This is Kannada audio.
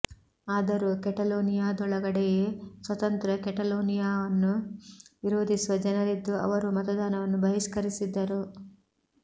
ಆದರೂ ಕೆಟಲೋನಿಯಾದೊಳಗಡೆಯೇ ಸ್ವತಂತ್ರ ಕೆಟಲೋನಿಯಾವನ್ನು ವಿರೋಧಿಸುವ ಜನರಿದ್ದು ಅವರು ಮತದಾನವನ್ನು ಬಹಿಷ್ಕರಿಸಿದ್ದರು